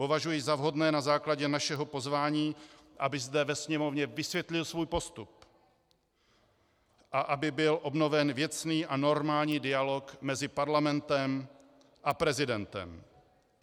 Považuji za vhodné na základě našeho pozvání, aby zde ve Sněmovně vysvětlil svůj postup a aby byl obnoven věcný a normální dialog mezi parlamentem a prezidentem.